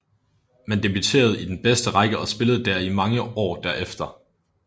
Man debuterede i den bedste række og spillede dér i mange år derefter